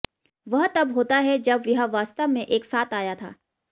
वह तब होता है जब यह वास्तव में एक साथ आया था